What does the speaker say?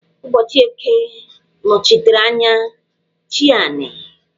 Ụbọchị eke nọchitere anya "chi anị"